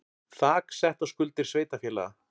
Þak sett á skuldir sveitarfélaga